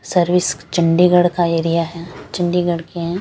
Service Chandigarh का area है चंडीगढ़ के हैं।